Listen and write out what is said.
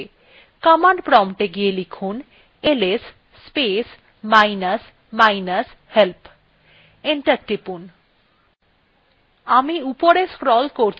command prompt এ go লিখুন is space minus minus help enter টিপুন